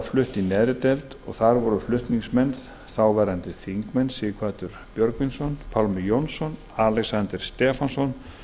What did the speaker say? í neðri deild og þar voru flutningsmenn þáverandi þingmenn sighvatur björgvinsson pálmi jónsson alexander stefánsson